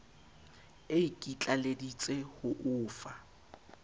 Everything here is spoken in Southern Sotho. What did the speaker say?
e ikitlaleditse ho o fa